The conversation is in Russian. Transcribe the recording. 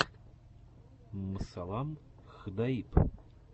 мсаллам хдаиб